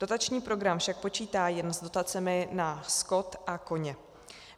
Dotační program však počítá jen s dotacemi na skot a koně.